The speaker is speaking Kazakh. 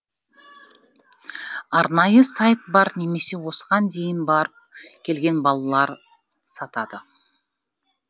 арнайы сайт бар немесе осыған дейін барып келген балалар сатады